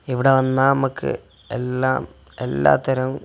ഇവിടെ വന്നാൽ നമുക്ക് എല്ലാം എല്ലാത്തരം--